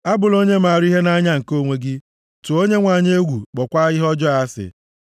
A bụla onye maara ihe nʼanya nke onwe gị. Tụọ Onyenwe anyị egwu, kpọọkwa ihe ọjọọ asị.